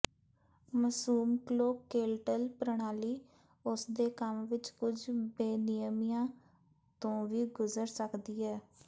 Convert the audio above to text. ਮਸੂਸਕਲੋਕਕੇਲਟਲ ਪ੍ਰਣਾਲੀ ਉਸਦੇ ਕੰਮ ਵਿੱਚ ਕੁਝ ਬੇਨਿਯਮੀਆਂ ਤੋਂ ਵੀ ਗੁਜ਼ਰ ਸਕਦੀ ਹੈ